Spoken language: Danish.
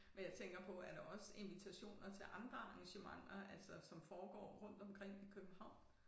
Men jeg tænker på er der også invitationer til andre arrangementer altså som foregår rundt omkring i København